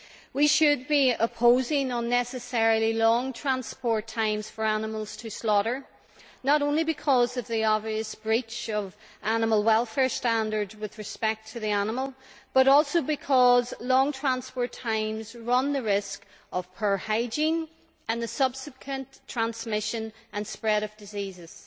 We should be opposing unnecessarily long transport times for animals to slaughter, not only because of the obvious breach of animal welfare standards with respect to the animal, but also because long transport times run the risk of poor hygiene and the subsequent transmission and spread of diseases.